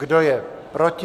Kdo je proti?